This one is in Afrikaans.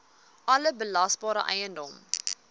alle belasbare eiendom